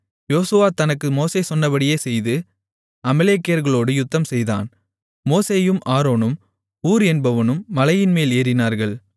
யோசுவா தனக்கு மோசே சொன்னபடியே செய்து அமலேக்கியர்களோடு யுத்தம்செய்தான் மோசேயும் ஆரோனும் ஊர் என்பவனும் மலைமேல் ஏறினார்கள்